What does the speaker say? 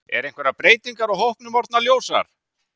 Eru einhverjar breytingar á hópnum orðnar ljósar?